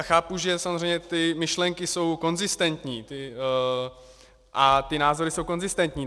A chápu, že samozřejmě ty myšlenky jsou konzistentní a ty názory jsou konzistentní.